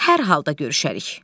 Hər halda görüşərik.